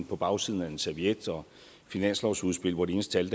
på bagsiden af en serviet og finanslovsudspil hvor de eneste